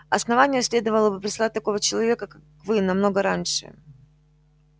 основание следовало бы прислать такого человека как вы намного раньше